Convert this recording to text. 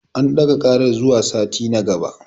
An ɗaga ƙarar zuwa sati na gaba.